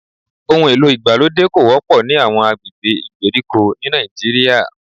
Ohùn èlò ìgbàlódé kò wọ́pọ̀ ní àwọn agbègbè ìgbèríko ní Nàìjíríà